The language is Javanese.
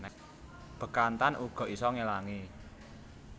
Bekantan uga isa ngelangi